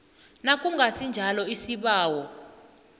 nakungasi njalo isibawo